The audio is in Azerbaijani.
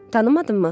Tanımadınmı?